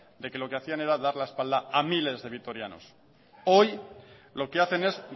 de que lo que hacían era dar la espalda a miles de vitorianos hoy lo que hacen es